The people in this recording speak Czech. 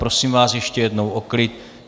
Prosím vás ještě jednou o klid.